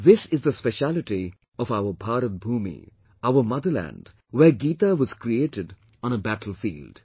This is the speciality of our 'Bharat Bhoomi', our motherland where GITA was created on a battlefield